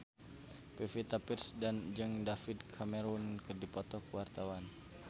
Pevita Pearce jeung David Cameron keur dipoto ku wartawan